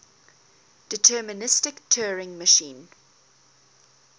deterministic turing machine